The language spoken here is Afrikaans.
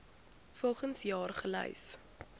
volgens jaar gelys